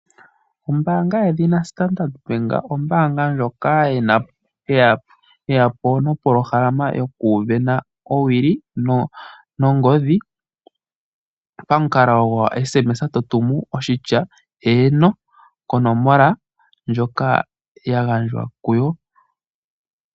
Ombaanga yedhina Standard Ombaanga ndjoka yeyapo nopolohamalama yoku sindana owili nongodhi pamukalo goku tuma okatumwalaka okahupi ,tutumu oshitya 'eeno' konomola ndjoka ya gandjwa kuyo.